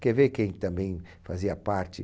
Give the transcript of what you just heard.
Quer ver quem também fazia parte?